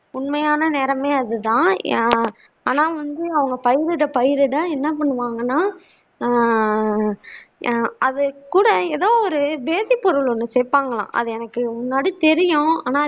உண்மையான நிறமே அது தான் ஆஹ் ஆனா வந்து அவங்க பயிரிட பயிரிட என்ன பண்ணுவாங்கன்னா எர் அது கூட ஏதோ ஒரு பொருள் ஒன்று சேர்ப்பாங்களாம் அது எனக்கு முன்னாடி தெரியும் ஆனா